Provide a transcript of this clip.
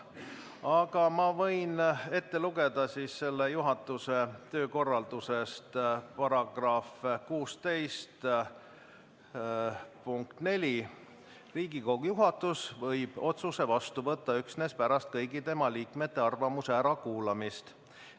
Aga ma võin selle osa juhatuse töökorraldusest ka ette lugeda, § 16 lõige 4: "Riigikogu juhatus võib otsuse vastu võtta üksnes pärast kõigi tema liikmete arvamuse ärakuulamist.